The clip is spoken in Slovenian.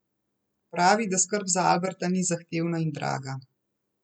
Pravi, da skrb za Alberta ni zahtevna in draga.